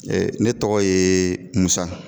ne tɔgɔ ye MUSA.